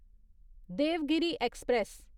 Devgiri express